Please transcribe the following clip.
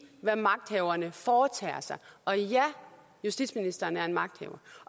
hvad magthaverne foretager sig og ja justitsministeren er magthaver